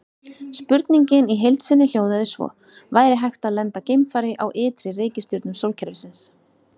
Spurningin í heild sinni hljóðaði svo: Væri hægt að lenda geimfari á ytri reikistjörnum sólkerfisins?